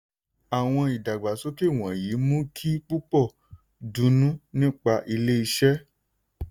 àwọn ìdàgbàsókè wọ̀nyí mú kí púpọ̀ dunnú nípa ilé iṣẹ́.